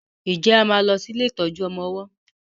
nje a má ló sì ilé ìtọjú ọmọ ọwó?